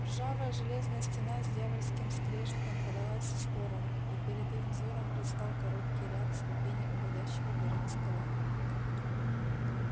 ржавая железная стена с дьявольским скрежетом подалась в сторону и перед их взором предстал короткий ряд ступеней уводящего вверх эскалатора